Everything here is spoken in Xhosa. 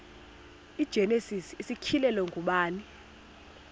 igenesis isityhilelo ngubani